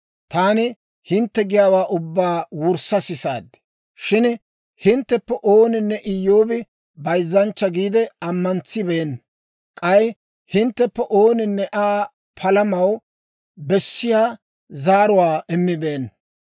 Taani hintte giyaawaa ubbaa wurssa sisaad; shin hintteppe ooninne Iyyoobi bayzzanchcha giide ammantsibeenna; k'ay hintteppe ooninne Aa palamaw bessiyaa zaaruwaa immibeenna.